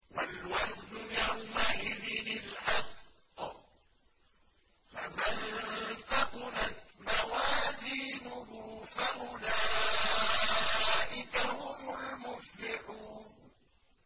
وَالْوَزْنُ يَوْمَئِذٍ الْحَقُّ ۚ فَمَن ثَقُلَتْ مَوَازِينُهُ فَأُولَٰئِكَ هُمُ الْمُفْلِحُونَ